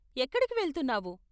ఎక్కడికి వెళ్తున్నావు?